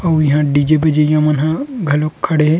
अऊ इहाँ डी_जे बजाइयया मन ह घलोक खड़े हे।